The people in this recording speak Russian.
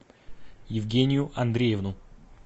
евгению андреевну